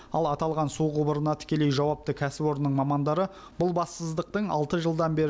ал аталған су құбырына тікелей жауапты кәсіпорынның мамандары бұл бассыздықтың алты жылдан бері